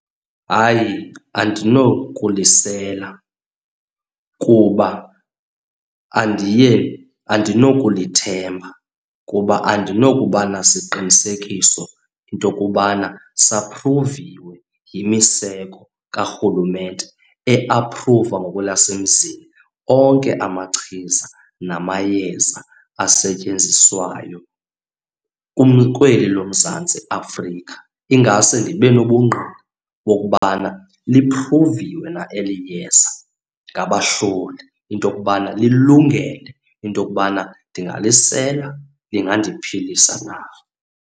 Hayi, andinokulisela kuba andiye, andinokulithemba kuba andinokuba nasiqinisekiso into yokubana saphruviwe yimiseko karhulumente, eaphruva ngokwelasemzini onke amachiza namayeza asetyenzisiwayo kweli loMzantsi Afrika. Ingase ndibe nobungqina bokubana liphruviwe na eli yeza ngabahloli, into yokubana lilungele into yokubana ndingazisela, lingandiphalisa na.